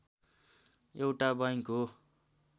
एउटा बैंक हो